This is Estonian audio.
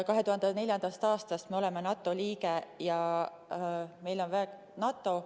2004. aastast me oleme NATO liige ja meil on NATO väed.